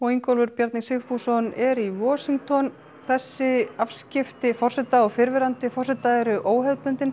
Ingólfur Bjarni Sigfússon er í þessi afskipti forseta og fyrrverandi forseta eru óhefðbundin